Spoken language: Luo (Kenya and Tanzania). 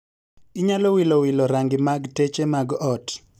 Inyalo wilo wilo rangi mag teche mag ot